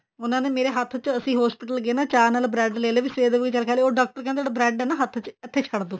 ਉਹਨਾ ਨੇ ਮੇਰੇ ਹੱਥ ਚ ਅਸੀਂ hospital ਗਏ ਉਹਨਾ ਨੇ ਚਾਹ ਨਾਲ bread ਲੈਲੇ ਵੀ ਸਵੇਰ ਦਾ ਚਲ ਕੁੱਛ ਖਾਇਆ ਨੀ ਡਾਕਟਰ ਕਹਿੰਦੇ bread ਆ ਨਾ ਹੱਥ ਚ ਇੱਥੇ ਛੱਡ ਦਿਓ